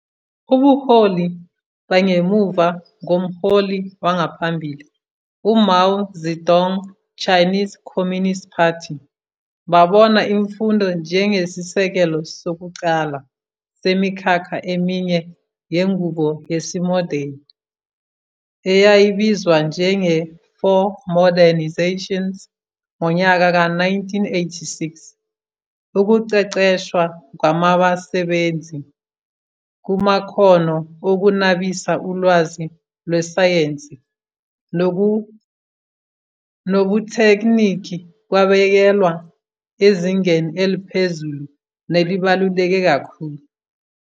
Ubuholi bangemuva komholi wangaphambili u-Mao Zedong Chinese Communist Party babona imfundo njengesisekelo sokuqala semikhakha eminye yenqubo yesimodeni, eyayibizwa njenge-Four Modernizations. Ngonyaka ka 1986 ukuqeqeshwa kwamabasebenzi kumakhono okunabisa ulwazi lwesayense nobuthekniki kwabekelwa ezingeni eliphezulu nelibaluleke kakhulu.